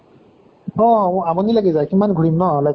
অহ আমনি লাগি যায় কিমান ঘুৰিম ন like